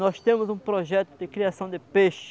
Nós temos um projeto de criação de peixe.